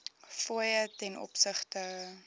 fooie ten opsigte